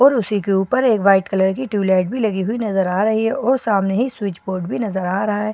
और उसी के ऊपर एक व्हाइट कलर की ट्यूबलाइट भी लगी हुई नजर आ रही है और सामने ही स्विच बोर्ड नजर आ रहा है।